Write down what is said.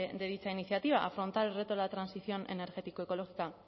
de dicha iniciativa afrontar el reto de la transición energético ecológica